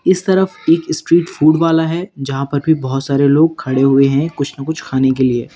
इस तरफ एक स्ट्रीट फूड वाला है जहां पर भी बहुत सारे लोग खड़े हुए हैं कुछ न कुछ खाने के लिए।